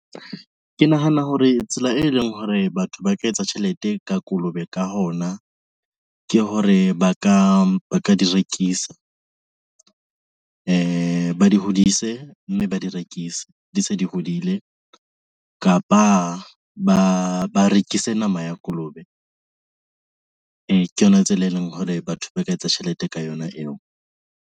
Ke nahana hore tsela eleng hore batho ba ka etsa tjhelete ka kolobe ka hona, ke hore ba ka di rekisa. Ba di hodise, mme ba di rekise di se di hodile kapa ba rekise nama ya kolobe. Ke yona tsela eleng hore batho ba ka etsa tjhelete ka yona eo.